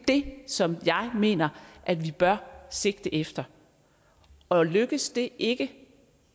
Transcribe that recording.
det som jeg mener at vi bør sigte efter og lykkes det ikke